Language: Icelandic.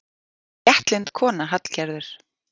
Léttlynd kona, Hallgerður.